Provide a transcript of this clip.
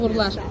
Uğurlar.